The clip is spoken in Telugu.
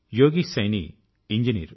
యోగేశ్ సైనీ ఇంజినీర్